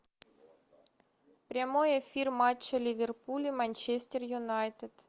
прямой эфир матча ливерпуль и манчестер юнайтед